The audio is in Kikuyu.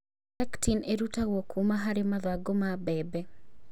Pectin ĩrutagwo kuuma harĩ mathangũ ma mbembe